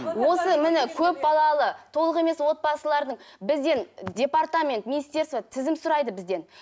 осы міне көпбалалы толық емес отбасыларының бізден департамент министерство тізім сұрайды бізден